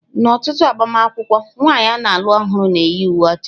N'ọtụtụ agbamakwụkwọ, nwanyị a na-alụ ọhụrụ na-eyi uwe ọcha.